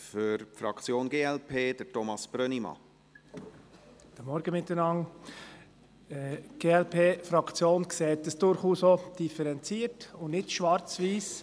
Die Glp-Fraktion sieht das durchaus auch differenziert und nicht schwarz-weiss.